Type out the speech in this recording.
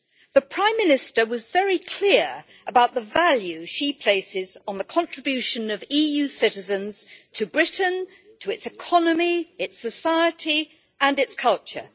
The Prime Minister was very clear about the value she places on the contribution of EU citizens to Britain, to its economy, its society and its culture.